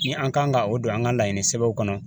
Ni an kan ka o don an ka laɲini sɛbɛnw kɔnɔ